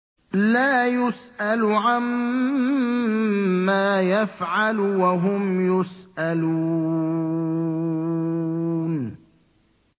لَا يُسْأَلُ عَمَّا يَفْعَلُ وَهُمْ يُسْأَلُونَ